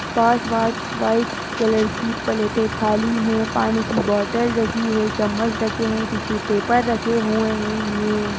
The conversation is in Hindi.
पांच बार व्हाइट कलर की प्लेट खाली है ये पानी की बोतल रखी है चम्मच रखे हैं टिशू पेपर रखे हुए हैं ये।